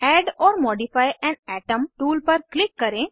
add or modify an atom tool पर click करें